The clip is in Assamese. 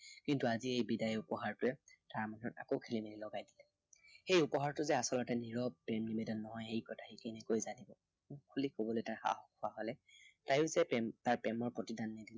কিন্তু আজি এই বিদায় উপহাৰটোৱে তাৰ মনত আকৌ খেলিমেলি লগাই দিলে। সেই উপহাৰটো যে আচলতে নীৰৱ প্ৰেম নিবেদন নহয়, সেই কথা সি কেনেকৈ জানিব। মুখ খুলি কবলৈ তাৰ সাহস হোৱা হলে, তাইও যে তাৰ প্ৰেম তাৰ প্ৰেমৰ প্ৰতিদান